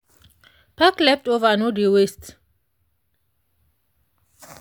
pack leftover no dey waste.